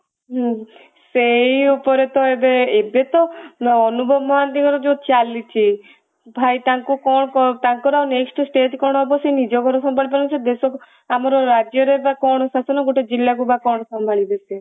ହୁଁ ସେଇ ଉପରେ ତ ଏବେ ତ ଅନୁଭବ ମହାନ୍ତଙ୍କର ଯୋଉ ଚାଲିଛି ଭାଇ ତାଙ୍କୁ କଣ କଣ ତାଙ୍କର next stage କଣ ହବ ସେ ନିଜକୁ ସମ୍ଭାଳି ପାରୁନାହାନ୍ତି ଦେଶ ଆମର ରାଜ୍ୟରେ ବା କଣ ଶାସନ ଗୋଟେ ଜିଲ୍ଲା କୁ ବ କଣ ସମ୍ଭାଳିବେ ସେ